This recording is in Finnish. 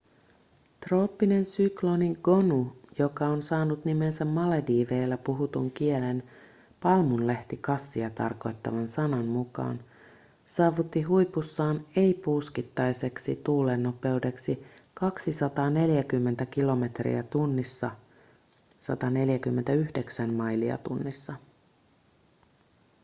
trooppinen sykloni gonu joka on saanut nimensä malediiveilla puhutun kielen palmunlehtikassia tarkoittavan sanan mukana saavutti huipussaan ei-puuskittaiseksi tuulennopeudeksi 240 kilometriä tunnissa 149 mailia tunnissa